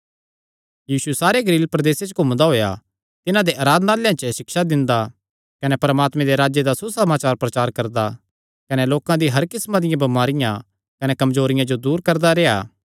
यीशु सारे गलील प्रदेसे च घूमदा होएया तिन्हां दे आराधनालयां च सिक्षा दिंदा कने परमात्मे दे राज्जे दा सुसमाचार प्रचार करदा कने लोकां दी हर किस्मां दियां बमारियां कने कमजोरियां जो दूर करदा रेह्आ